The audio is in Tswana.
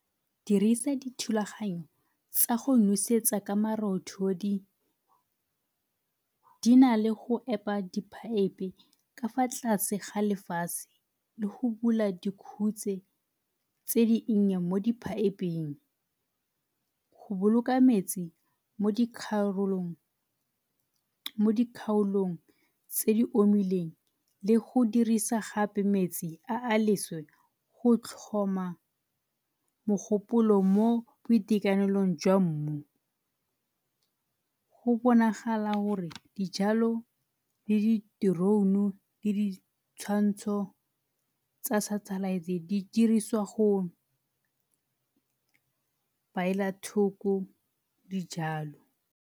Dirisa dithulaganyo tsa go nosetsa ka marothodi. Di nale go epa di-pipe ka fa tlase ga lefatshe le go bula tse di nnye mo di-pipe-ng. Go boloka metsi mo di kgaolong tse di omileng le go dirisa gape metsi a a leswe go tlhoma mogopolo mo boitekanelong jwa mmu. Go bonagala gore dijalo le di drone le di tshwantsho tsa satellite di dirisiwa go beela thoko dijalo.